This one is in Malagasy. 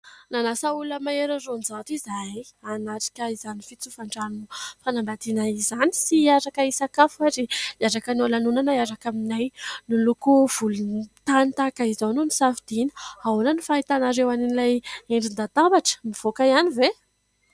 Nanasa olona mahery ny raonjato izahay hanatrika izany fitsofan-drano fanambadiana izany sy hiaraka hisakafo ary hiaraka hanao lanonana hiaraka aminay. Miloko volontany tahaka izao no nisafidiana. Ahoana ny fahitanareo an'ilay endrin-dadabatra mivoaka ihany ve?